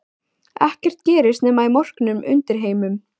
Ekkert gerist nema í morknum undirheimum.